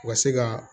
U ka se ka